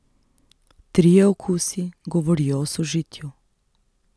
Trije okusi govorijo o sožitju.